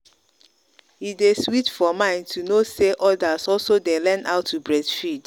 e day sweet for mind to know say others also day learn how to breastfeed.